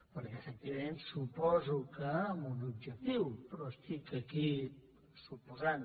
perquè efectivament suposo que amb un objectiu però estic aquí suposant